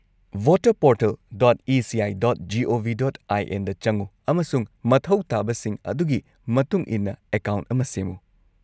-Voterportal.eci.gov.in ꯗ ꯆꯪꯎ ꯑꯃꯁꯨꯡ ꯃꯊꯧ ꯇꯥꯕꯁꯤꯡ ꯑꯗꯨꯒꯤ ꯃꯇꯨꯡ ꯏꯟꯅ ꯑꯦꯀꯥꯎꯟꯠ ꯑꯃ ꯁꯦꯝꯃꯨ ꯫